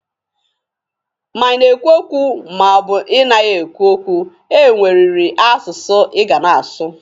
Ma ị na-ekwu okwu ma ọ bụ ị naghị ekwu okwu, e nweriri asụsụ ị ga na-asụ.